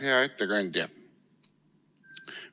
Hea ettekandja!